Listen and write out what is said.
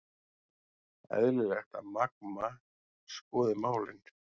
Eðlilegt að Magma skoði málin